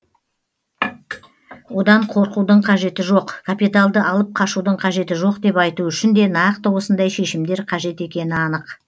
одан қорқудың қажеті жоқ капиталды алып қашудың қажеті жоқ деп айту үшін де нақты осындай шешімдер қажет екені анық